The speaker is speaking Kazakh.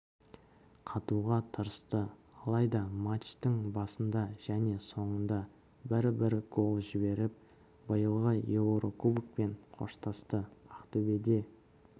қатуға тырысты алайда матчтың басында және соңында бір-бір гол жіберіп биылғы еурокубокпен қоштасты ақтөбе де